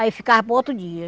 Aí ficava para outro dia.